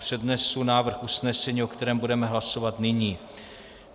Přednesu návrh usnesení, o kterém budeme hlasovat nyní.